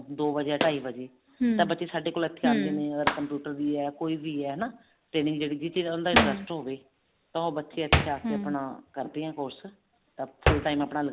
ਦੋ ਵਜੇ ਜਾਂ ਢਾਈ ਵਜੇ ਬੱਚੇ ਸਾਡੇ ਆਉਂਦੇ ਨੇ computer ਦੀ ਆ ਕੋਈ ਵੀ ਆ training ਜਿਹੜੀ ਦਾ interest ਹੋਵੇ ਤਾਂ ਉਹ ਬੱਚੇ ਕੇ ਕਰਦੇ ਆ ਆਪਣਾ course full time ਆਪਣਾ